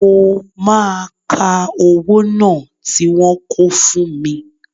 Mo máa ka owó náà tí wọ́n kó fún mi